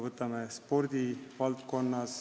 Võtame spordivaldkonna.